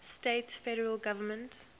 states federal government